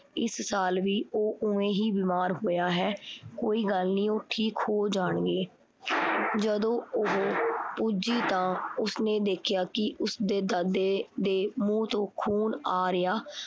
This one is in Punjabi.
ਇਸ ਸਾਲ ਵੀ ਉਹ ਓਵੇਂ ਹੀ ਬਿਮਾਰ ਹੋਇਆ ਹੈ, ਕੋਈ ਗੱਲ ਨੀ ਉਹ ਠੀਕ ਹੋ ਜਾਣਗੇ। ਜਦੋਂ ਉਹ ਪੁੱਜੀ ਤਾਂ ਉਸਨੇ ਦੇਖਿਆ ਕੀ ਉਸਦੇ ਦਾਦੇ ਦੇ ਮੂੰਹ ਤੋਂ ਖੂਨ ਆ ਰਿਹਾ